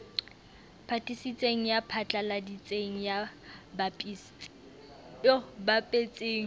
hatisitseng ya phatlaladitseng ya bapetseng